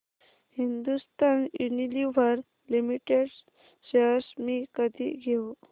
Hindustan Unilever limited shares मी कधी घेऊ